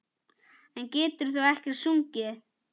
En getur þú ekkert sungið?